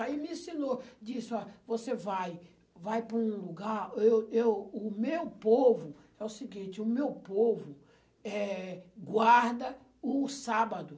Aí me ensinou, disse, ó você vai vai para um lugar, eu eu, o meu povo, é o seguinte, o meu povo, eh, guarda o sábado.